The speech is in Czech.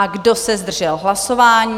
A kdo se zdržel hlasování?